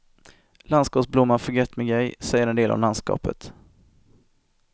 Landskapsblomman förgätmigej säger en del om landskapet.